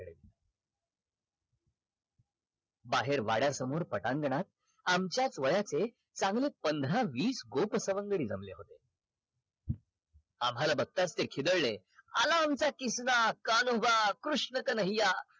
बाहेर वाड्यासमोर पटांगणात आमच्याच वयाचे चांगले पंधरा वीस गोप सवंगडी जमले आम्हाला बघतच ते खिदडले आला आमचा किस्ना कान्होबा कृष्ण कन्हैय्या